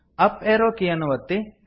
up arrow key ಯನ್ನು ಒತ್ತಿ